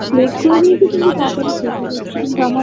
late করে দিয়েছে কিন্তু তাড়াতাড়ি শেষ হয়ে যাচ্ছে কিন্তু আমার